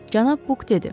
Cənab Buk dedi.